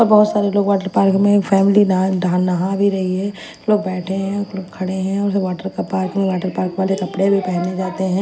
बहोत सारे लोग वाटर पार्क में एक फैमिली डां नहा भी रही है लोग बैठे हैं खड़े हैं और सब वाटर पार्क में वाटर पार्क वाले कपड़े भी पहने जाते हैं।